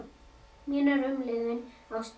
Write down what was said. Mínar umliðnu ástir.